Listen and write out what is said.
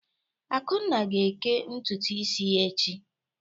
Akunna ga-ékẹ́ ntutu isi ya echi.